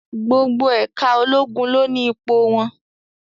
Gbogbo ẹ̀ka ológun ló ni ipò wọn.